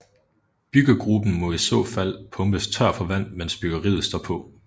Byggegruben må i så fald pumpes tør for vand mens byggeriet står på